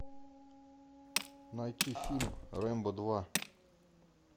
найти фильм рембо два